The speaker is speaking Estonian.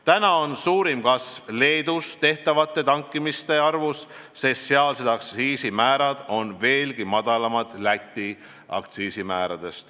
Praegu on suurim kasv olnud Leedus tehtavate tankimiste arvus, sest sealsed aktsiisimäärad on veelgi madalamad kui Läti aktsiisimäärad.